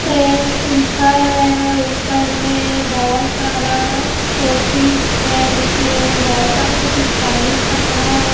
Trends लिखा है ऊपर में बहोत सारा शोपीस है जिसमें बहोत सारा स्टाइलिश कपड़ा है।